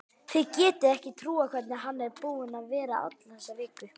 Þið getið ekki trúað hvernig hann er búinn að vera alla þessa viku.